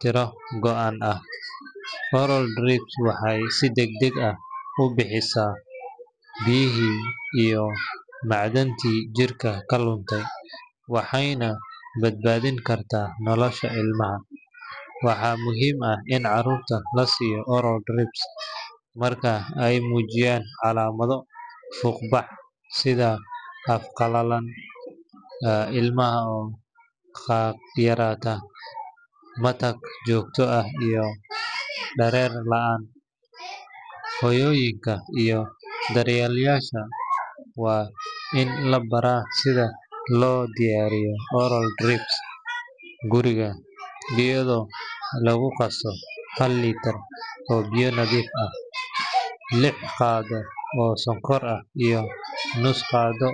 tiro go’an ah. Oral drips waxay si degdeg ah u buuxisaa biyihii iyo macdantii jirka ka luntay, waxayna badbaadin kartaa nolosha ilmaha. Waxaa muhiim ah in carruurta la siiyo oral drips marka ay muujiyaan calaamado fuuq bax sida af qalalan, ilmada oo yaraata, matag joogto ah, iyo dhareer la’aan. Hooyooyinka iyo daryeelayaashu waa in la baraa sida loo diyaariyo oral drips guriga, iyadoo lagu qaso hal litir oo biyo nadiif ah, lix qaado oo sonkor ah, iyo nus qaado .